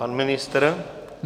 Pan ministr?